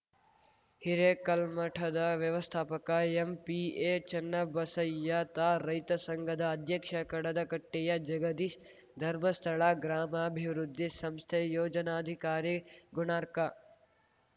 ಹಿರೇಕಲ್ಮಠದ ವ್ಯವಸ್ಥಾಪಕ ಎಂಪಿಎ ಚನ್ನಬಸಯ್ಯ ತಾ ರೈತ ಸಂಘದ ಅಧ್ಯಕ್ಷ ಕಡದಕಟ್ಟೆಯ ಜಗದೀಶ್‌ ಧರ್ಮಸ್ಥಳ ಗ್ರಾಮಾಭಿವೃದ್ದಿ ಸಂಸ್ಥೆ ಯೋಜನಾಧಿಕಾರಿ ಗುಣಾರ್ಕಾ